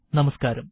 നമസ്കാരം